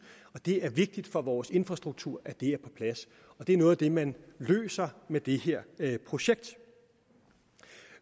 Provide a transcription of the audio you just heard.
det er vigtigt for vores infrastruktur at det er på plads og det er noget af det man løser med det her projekt